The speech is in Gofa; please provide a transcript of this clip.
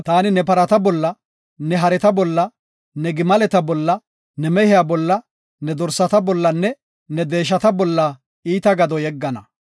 taani ne parata bolla, ne hareta bolla, ne gimaleta bolla, ne mehiya bolla, ne dorsata bollanne ne deeshata bolla iita gado yeggana.